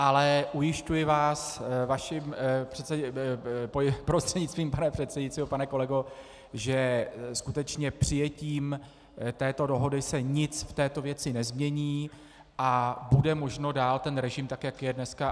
Ale ujišťuji vás prostřednictvím pana předsedajícího, pane kolego, že skutečně přijetím této dohody se nic v této věci nezmění a bude možno dál ten režim tak, jak je dneska.